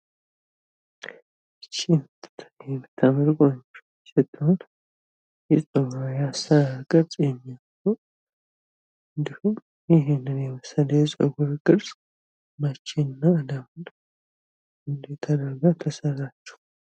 ይች የምታምር ቆንጆ ልጅ ስትሆን የጸጉሯ የአሰራር ቅርጽ የሚያምር ነው። እንድሁም ይህንን የመሰለ የጸጉር ቅርጽ መቼና እንድሁም እንደት ተደርጋ ተሰራችው።